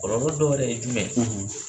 Kɔlɔlɔ dɔ yɛrɛ ye jumɛn ye?